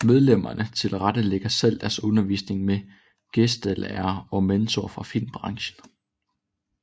Medlemmerne tilrettelægger selv deres undervisning med gæstelærere og mentorer fra filmbranchen